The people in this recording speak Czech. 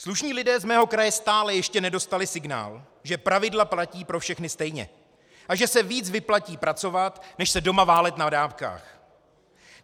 Slušní lidé z mého kraje stále ještě nedostali signál, že pravidla platí pro všechny stejně a že se víc vyplatí pracovat než se doma válet na dávkách.